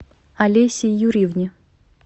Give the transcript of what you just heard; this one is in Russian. олесе юрьевне